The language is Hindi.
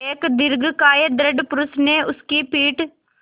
एक दीर्घकाय दृढ़ पुरूष ने उसकी पीठ